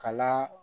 Kala